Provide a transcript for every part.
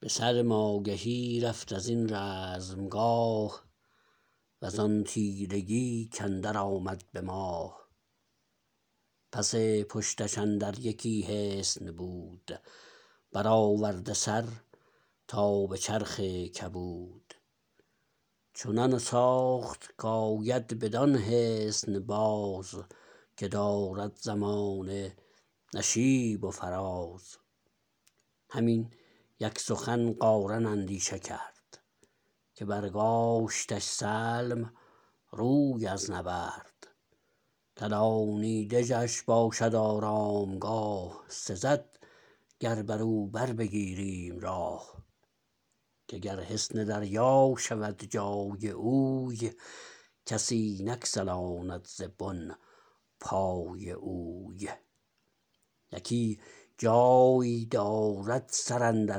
به سلم آگهی رفت ازین رزمگاه وزان تیرگی کاندر آمد به ماه پس پشتش اندر یکی حصن بود برآورده سر تا به چرخ کبود چنان ساخت کاید بدان حصن باز که دارد زمانه نشیب و فراز هم این یک سخن قارن اندیشه کرد که برگاشتش سلم روی از نبرد کلانی دژش باشد آرامگاه سزد گر برو بربگیریم راه که گر حصن دریا شود جای اوی کسی نگسلاند ز بن پای اوی یکی جای دارد سر اندر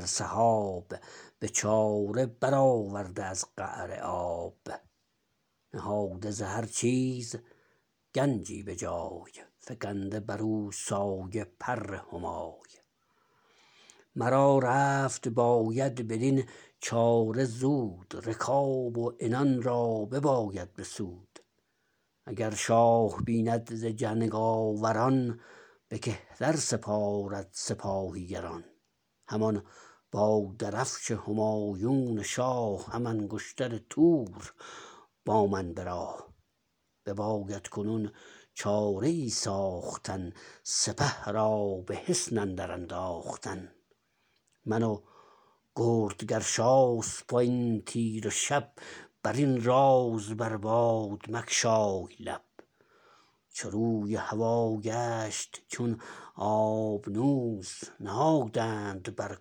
سحاب به چاره برآورده از قعر آب نهاده ز هر چیز گنجی به جای فگنده برو سایه پر همای مرا رفت باید بدین چاره زود رکاب و عنان را بباید بسود اگر شاه بیند ز جنگ آوران به کهتر سپارد سپاهی گران همان با درفش همایون شاه هم انگشتر تور با من به راه بباید کنون چاره ای ساختن سپه را به حصن اندر انداختن من و گرد گرشاسپ وین تیره شب برین راز بر باد مگشای لب چو روی هوا گشت چون آبنوس نهادند بر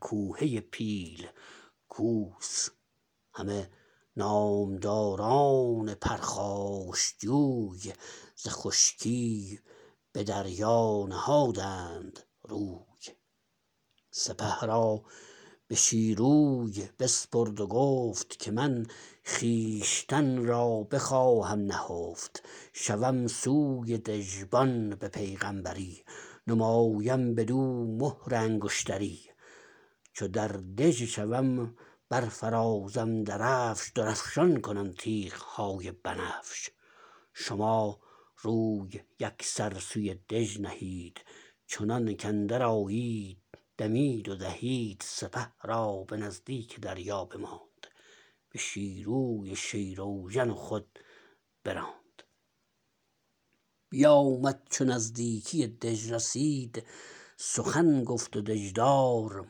کوهه پیل کوس همه نامداران پرخاشجوی ز خشکی به دریا نهادند روی سپه را به شیروی بسپرد و گفت که من خویشتن را بخواهم نهفت شوم سوی دژبان به پیغمبری نمایم بدو مهر انگشتری چو در دژ شوم برفرازم درفش درفشان کنم تیغ های بنفش شما روی یکسر سوی دژ نهید چنانک اندر آید دمید و دهید سپه را به نزدیک دریا بماند به شیروی شیراوژن و خود براند بیامد چو نزدیکی دژ رسید سخن گفت و دژدار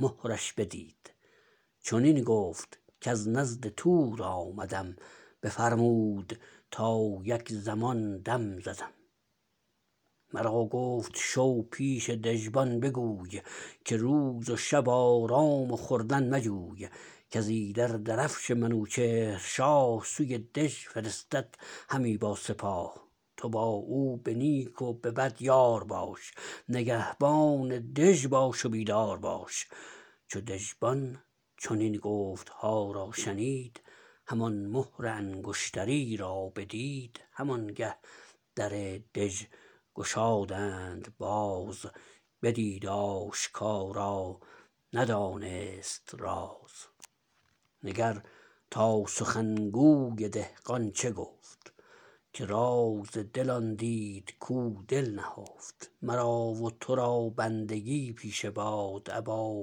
مهرش بدید چنین گفت کز نزد تور آمدم بفرمود تا یک زمان دم زدم مرا گفت شو پیش دژبان بگوی که روز و شب آرام و خوردن مجوی کز ایدر درفش منوچهر شاه سوی دژ فرستد همی با سپاه تو با او به نیک و به بد یار باش نگهبان دژ باش و بیدار باش چو دژبان چنین گفتها را شنید همان مهر انگشتری را بدید همان گه در دژ گشادند باز بدید آشکارا ندانست راز نگر تا سخنگوی دهقان چه گفت که راز دل آن دید کو دل نهفت مرا و تو را بندگی پیشه باد ابا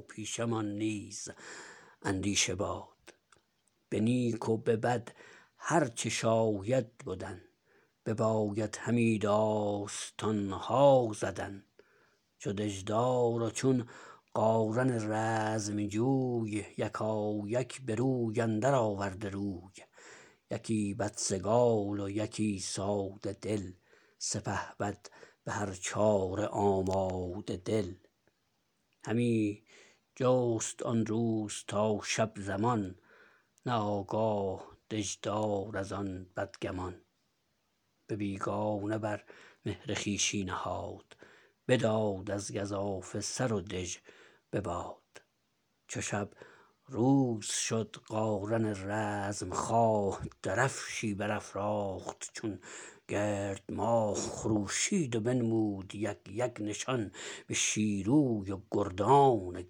پیشه مان نیز اندیشه باد به نیک و به بد هر چه شاید بدن بباید همی داستان ها زدن چو دژدار و چون قارن رزمجوی یکایک به روی اندر آورده روی یکی بدسگال و یکی ساده دل سپهبد به هر چاره آماده دل همی جست آن روز تا شب زمان نه آگاه دژدار از آن بدگمان به بیگانه بر مهر خویشی نهاد بداد از گزافه سر و دژ به باد چو شب روز شد قارن رزمخواه درفشی برافراخت چون گرد ماه خروشید و بنمود یک یک نشان به شیروی و گردان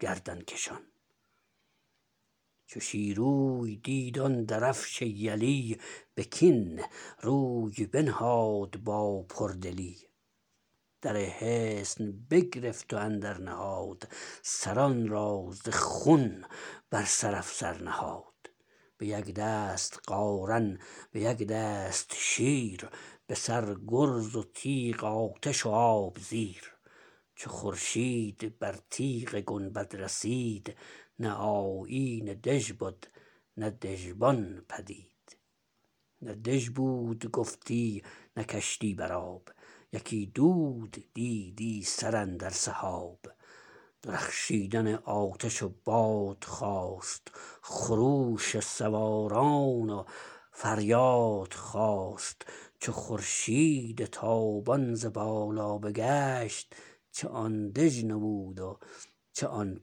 گردن کشان چو شیروی دید آن درفش یلی به کین روی بنهاد با پردلی در حصن بگرفت و اندر نهاد سران را ز خون بر سر افسر نهاد به یک دست قارن به یک دست شیر به سر گرز و تیغ آتش و آب زیر چو خورشید بر تیغ گنبد رسید نه آیین دژ بد نه دژبان پدید نه دژ بود گفتی نه کشتی بر آب یکی دود دیدی سراندر سحاب درخشیدن آتش و باد خاست خروش سواران و فریاد خاست چو خورشید تابان ز بالا بگشت چه آن دژ نمود و چه آن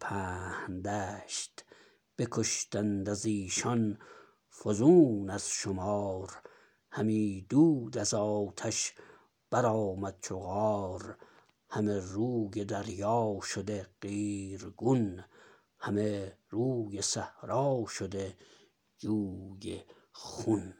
پهن دشت بکشتند از ایشان فزون از شمار همی دود از آتش برآمد چو قار همه روی دریا شده قیرگون همه روی صحرا شده جوی خون